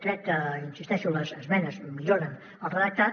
crec que hi insisteixo les esmenes milloren el redactat